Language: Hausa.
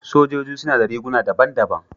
Sojoji suna da riguna daban-daban.